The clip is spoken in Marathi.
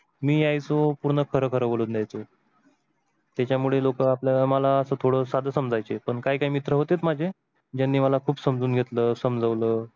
मी यायचो पूर्ण खर खर बोलून जायचो, त्या मुळे लोक मला थोड साध समजायचे काही काही मित्र होते माझे त्यांनी मला खूप समजून घेतल समजवल